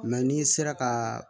n'i sera ka